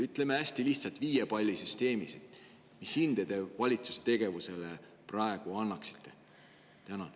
Ütleme hästi lihtsalt, viie palli süsteemis, mis hinde te valitsuse tegevusele praegu annaksite?